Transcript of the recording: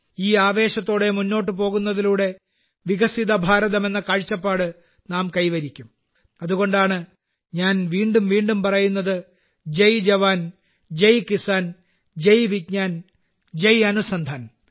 ഈ ആവേശത്തോടെ മുന്നോട്ട് പോകുന്നതിലൂടെ വികസിത ഭാരതം എന്ന കാഴ്ചപ്പാട് നാം കൈവരിക്കും അതുകൊണ്ടാണ് ഞാൻ വീണ്ടും വീണ്ടും പറയുന്നത് ജയ് ജവാൻ ജയ് കിസാൻ ജയ് വിജ്ഞാൻ ജയ് അനുസന്ധാൻ